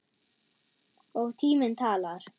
Og tíminn talar.